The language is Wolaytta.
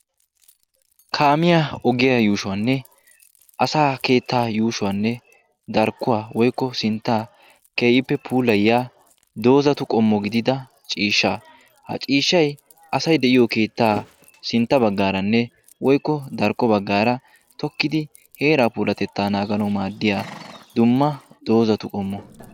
kaamiya ogiyaa yuushuwaanne asa keettaa yuushuwaanne darkkuwaa woykko sinttaa keeyippe puulay ya doozatu qommo gidida ciishsha ha ciishshay asay de'iyo keettaa sintta baggaaranne woykko darkko baggaara tokkidi heeraa puulatettaa naagana maaddiya dumma doozatu qommo